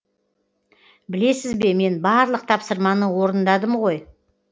білесіз бе мен барлық тапсырманы орындадым ғой